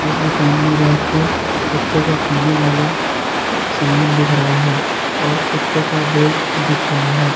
इस दुकान में रैक पर कुत्तों का खाने वाला सामान दिख रहा है और कुत्तों का बेल्ट दिख रहा है।